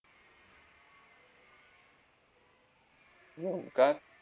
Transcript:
हम्म काय?